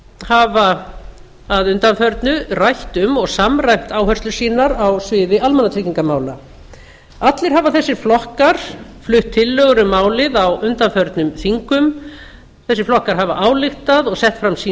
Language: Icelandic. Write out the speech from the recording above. hafa að undanförnu rætt um og samræmt áherslur sínar á sviði almannatryggingamála allir hafa þessir flokkar flutt tillögur um málið á undanförnum þingum þessir flokkar hafa ályktað og sett fram sín